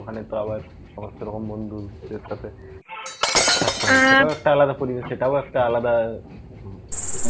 ওখানে তো আবার সমস্থ রকম বন্ধুদের সাথে আলাদা পরিবেশে সেটাও একটা আলাদা